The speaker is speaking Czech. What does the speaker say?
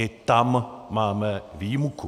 I tam máme výjimku.